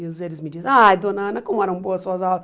E os eles me dizem, ai, dona Ana, como eram boas suas aulas.